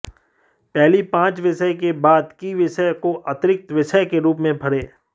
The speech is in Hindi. पहली पांच विषय के बाद की विषय को अतिरिक्त विषय के रूप में भरें